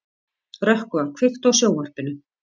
Rökkva, kveiktu á sjónvarpinu.